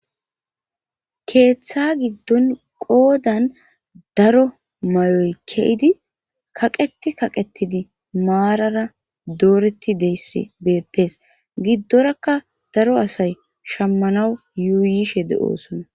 keeththa giddon qoodan daro may7oy kedi kaqeti kaqetidi maarara dooreti deyssi bettees giddorakka daro asay shammanaw yuuyishe de7osona